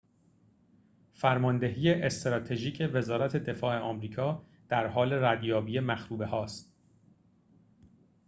فرماندهی استراتژیک وزارت دفاع آمریکا در حال ردیابی مخروبه‌هاست